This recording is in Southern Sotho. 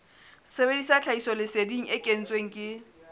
sebedisa tlhahisoleseding e kentsweng ke